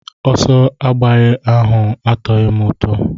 Ọsọ agbagharị ahụ atoghị m ụtọ.